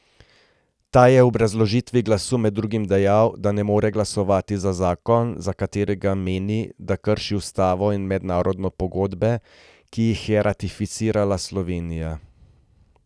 Ta je v obrazložitvi glasu med drugim dejal, da ne more glasovati za zakon, za katerega meni, da krši ustavo in mednarodne pogodbe, ki jih je ratificirala Slovenija.